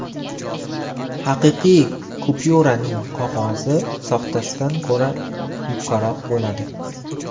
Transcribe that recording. Haqiqiy kupyuraning qog‘ozi soxtasidan ko‘ra yupqaroq bo‘ladi.